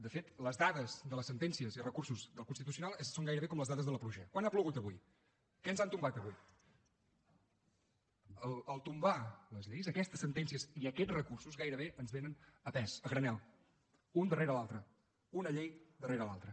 de fet les dades de les sentències i recursos del constitucional són gairebé com les dades de la pluja quant ha plogut avui què ens han tombat avui tombar les lleis aquestes sentències i aquests recursos gairebé ens vénen a pes a granel un darrere l’altra una llei darrere l’altra